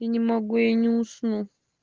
не могу я не усну